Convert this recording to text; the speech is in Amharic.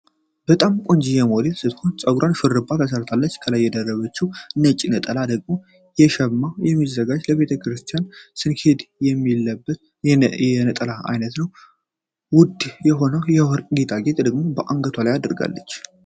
በጣም ቆንጂየ ሞዴል ስትሆን ፀጉራን ሹሩባ ተሰርታለች ከላይ የደረበችው ነጭ ነጠላ ደግሞ ከሸማ የሚዘጋጅ ለቤተ ክርስቲያን ስንሄድ የሚልበት የነጠላ አይነት ነው። ውድ የሆነውን የወርቅ ጌጣጌጥ ደግሞ አንገቷ ላይ አድርጋለች።